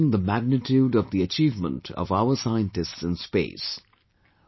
You can well imagine the magnitude of the achievement of our scientists in space